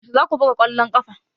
Yaushe za ku buga ƙwallon ƙafa?